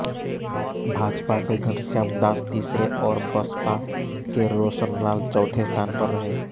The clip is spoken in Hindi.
भाजपा के घनश्याम दास तीसरे और बसपा के रोशनलाल चौथे स्थान पर रहे